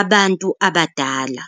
abantu abadala.